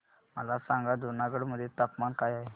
मला सांगा जुनागढ मध्ये तापमान काय आहे